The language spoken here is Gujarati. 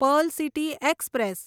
Perl city express